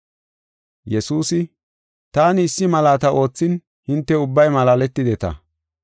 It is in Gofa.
Yesuusi, “Taani issi malaata oothin hinte ubbay malaaletideta.